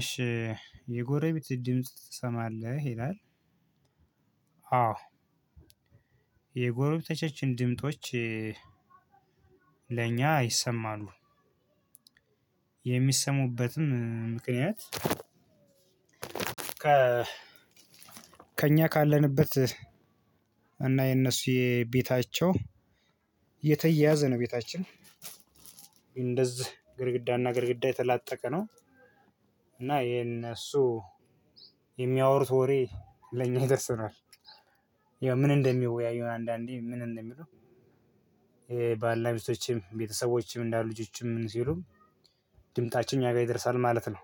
እሺ የጎረቤት ድምጽ ትሰማለህ ይላል? አዎ የጎረቤቶቻችን ድምጦች ለእኛ ይሰማሉ። የሚሰሙበትም ምክንያት ከ ከእኛ ካለንበት እና የእነሱ የቤታቸው የተያያዘ ነው ቤታችን እንደዚህ ግድግዳና ግድግዳ የተላጠቀ ነው። እና የነሱ የሚያወሩት ወሬ ለኛ ይደርሰናል። ይኸው ምን እንደሚወያዩ አንዳንዴ ምን እንደሚሉ ባልና ሚስቶችም ቤተሰቦችም እንዳሉ ልጆችም ምን ሲሉም ድምፃቸው እኛ ጋር ይደርሳል ማለት ነው።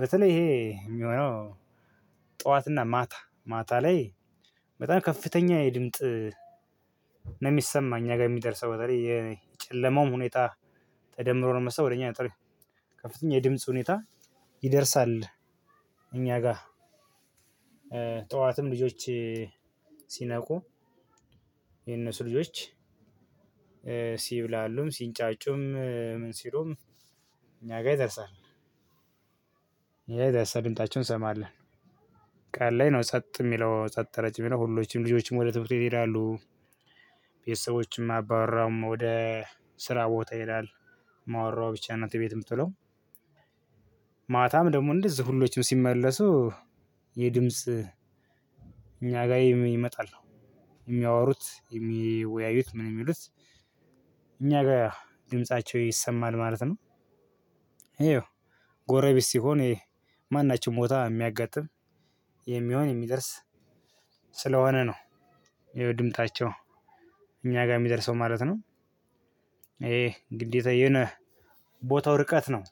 በተለይ ይሄ የሚሆነው ጠዋትና ማታ ማታ ላይ በጣም ከፍተኛ የድምጥ ነው የሚሰማኝ እኛ ጋር የሚደርሰው በተለይ የጨለማውም ሁኔታ ተደምሮ ነው መሰል ከፍተኛ የድምጽ ሁኔታ ይደርሳል። እኛ ጋ ጠዋትም ልጆች ሲነቁ የነሱ ልጆች ሲብላሉም ሲንጫጩም ምን ሲሉም እኛ ጋር ይደርሳል። ይደርሳል ድምፃቸውን እንሰማለን። ቀን ላይ ነው ጸጥ የሚለው ጸጥ ረጭ የሚለው ሁሎችም ልጆችም ወደ ትምህርት ቤት ይሄዳሉ። ቤተሰቦችም አባወራውም ወደ ስራ ቦታ ይሄዳል። እማዋራዋ ብቻ ናት እቤት የምትውለው። ማታም ደግሞ እንደዚሁ ሁሎችም ሲመለሱ የድምጽ እኛ ጋር ይመጣል። የሚያወሩት የሚወያዩት ምን የሚሉት እኛ ጋር ድምፃቸው ይሰማል ማለት ነው። ይኸው ጎረቤት ሲሆን ማናቸውም ቦታ የሚያጋጥም የሚሆን የሚደርስ ስለሆነ ነው። ያው ድምጣቸው እኛ ጋር የሚደርሰው ማለት ነው። ይሄ ግዴታዬን ቦታው ርቀት ነው።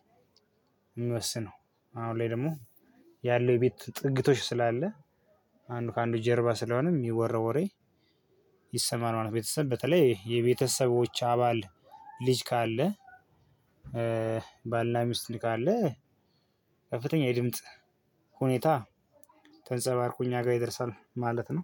የምወስነው አሁን ላይ ደግሞ ያለው የቤት ጥግግቶች ስላለ አንዱ በአንዱ ጀርባ ስለሆነ የሚወራው ይሰማል ማለት ነው። ቤተሰብ በተለይ የቤተሰብ አባል ልጅ ካለ ባልና ሚስት ካለ ከፍተኛ የድምጽ ሁኔታ ተንጸባርቆ እኛ ጋር ይደርሳል ማለት ነው።